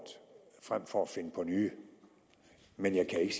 frem for at finde på nye men jeg kan ikke